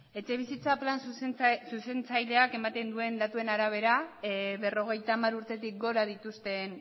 etxebizitza plan zuzentzaileak ematen duen datuen arabera berrogeita hamar urtetik gora dituzten